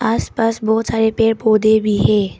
आस पास बहुत सारे पेड़ पौधे भी हैं।